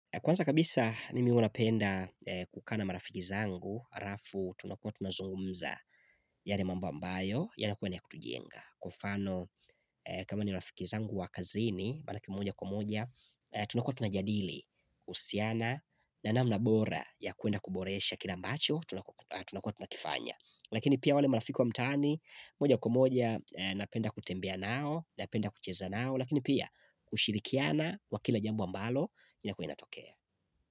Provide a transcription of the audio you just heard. Kwanza kabisa mimi huwanapenda kukaa marafiki zangu halafu tunakua tunazungumza yale mambo ambayo ya nakuwa niya kutujenga mfano kama ni marafiki zangu wakazini Malaki mmoja kwamoja Tunakua tunajadili kuhusiana na nanamnabora ya kuenda kuboresha kila ambacho Tunakua tunakifanya Lakini pia wale marafiki wa mtaani mmoja kwamoja napenda kutembea nao Napenda kucheza nao Lakini pia kushirikiana kwa kila jambo wa ambalo inakuwainatokea.